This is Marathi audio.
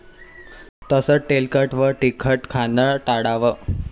तसंच तेलकट व तिखट खाणं टाळावं.